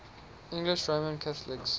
english roman catholics